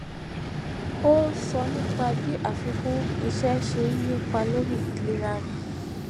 ó sọ nípa bí àfikún iṣé ṣe ń nípa lórí ìlera rẹ